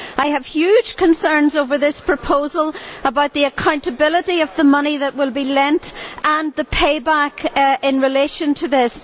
I have huge concerns over this proposal, about the accountability of the money that will be lent, and the payback in relation it.